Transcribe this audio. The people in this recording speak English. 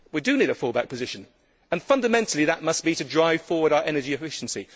We do need a fallback position, and fundamentally that must be to drive forward our energy efficiency.